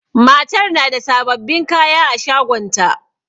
Matar na da sababbin kaya a shagonta